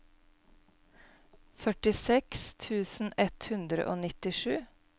førtiseks tusen ett hundre og nittisju